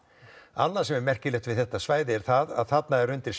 annað sem er merkilegt við þetta svæði er að þarna undir